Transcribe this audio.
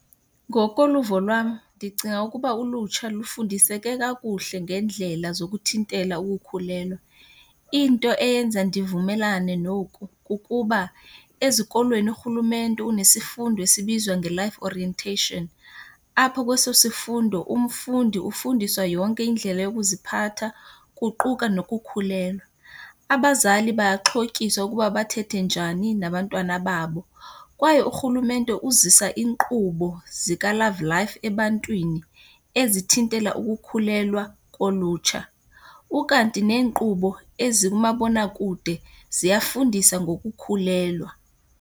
Ngokoluvo lwam ndicinga ukuba ulutsha lufundiseke kakuhle ngeendlela zokuthintela ukukhulelwa. Into eyenza ndivumelane noku kukuba ezikolweni urhulumente unesifundo esibizwa ngeLife Orientation. Apho kweso sifundo umfundi ufundiswa yonke indlela yokuziphatha, kuquka nokukhulelwa. Abazali bayaxhotyiswa ukuba bathethe njani nabantwana babo kwaye urhulumente uzisa inkqubo zikaLove Life ebantwini ezithintela ukukhulelwa kolutsha. Ukanti neenkqubo ezikumabonakude ziyafundisa ngokukhulelwa.